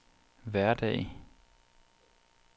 hverdag